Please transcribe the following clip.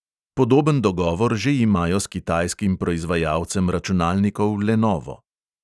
Podoben dogovor že imajo s kitajskim proizvajalcem računalnikov lenovo.